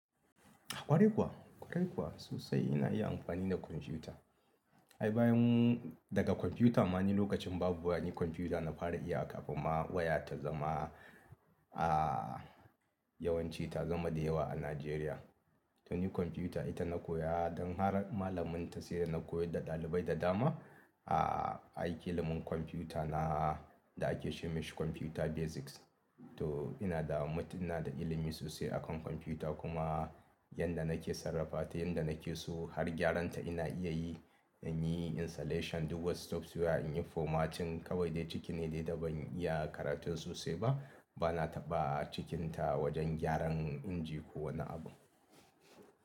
Kwarai kuwa, kwarai kuwa sosai ina iya amfani da kwamfuta. Ai bayan daga kwamfuta ma ni lokacin babu waya ni kwamfuta na fara iya kafin ma waya ta zama a yawan ci ta zama da yawa a Najeriya. To ni kwamfuta ita na koya don har malaminta sai da na koyar da ɗalibai da dama. A yi ilimin kwamfuta na da ake ce masa kwamfuta basics. To ina da mut ina da ilimi sosai a kan kwamfuta kuma yanda nake sarrafa ta yanda nake so har gyaran ta ina iya yi. In yi installation, duba software, in yi formatting kawai dai ciki ne dai da ban iya karatu sosai ba. Bana taɓa cikinta wajen gyaran inji ko wani abu.